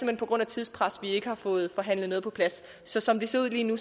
hen på grund af tidspres at vi ikke har fået forhandlet noget på plads så som det ser ud lige nu